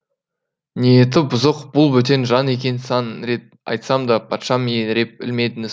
ниеті бұзық бұл бөтен жан екенін сан рет айтсам да патшам еңіреп ілмедіңіз